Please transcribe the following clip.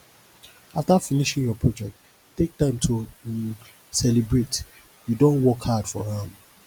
after finishing your project take time to um celebrate you don work hard for am